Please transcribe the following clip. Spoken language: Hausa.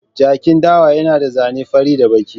Jakin dawa yana da zane fari da baki.